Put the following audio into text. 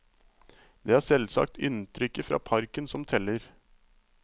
Det er selvsagt inntrykket fra parken som teller.